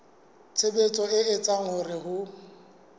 tshebetso e etsang hore ho